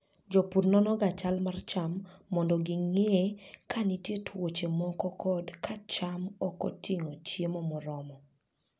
Jopur nonoga chal mar cham mondo ging'e ka nitie tuoche moko kod ka cham ok oting'o chiemo moromo.